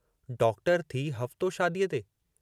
Doctor थी हफ़्तो शादीअ ते?